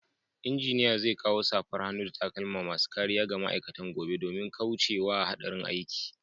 Engineer zai kawo safar hannu da takalma masu kariya ga ma'aikatan gobe domin kauce wa hadarin aiki.